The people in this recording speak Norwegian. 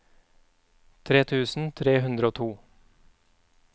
tre tusen tre hundre og to